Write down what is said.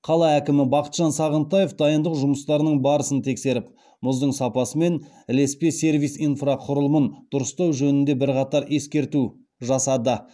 қала әкімі бақытжан сағынтаев дайындық жұмыстарының барысын тексеріп мұздың сапасы мен ілеспе сервис инфрақұрылымын дұрыстау жөнінде бірқатар ескерту жасады